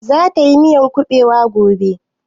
Za ta yi miyan kuɓewa gobe?